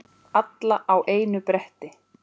Alla á einu bretti.